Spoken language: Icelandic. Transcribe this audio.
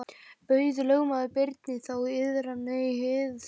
Bauð lögmaður Birni þá iðran í hið þriðja sinn.